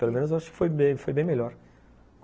Pelo menos eu acho que foi bem, foi bem melhor.